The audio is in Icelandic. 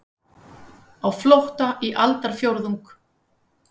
Á flótta í aldarfjórðung